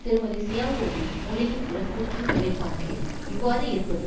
திருமதி ஷியாவோவின் மூளையின் உடற்கூற்று நிலைப்பாட்டில் இவ்வாறு இருப்பது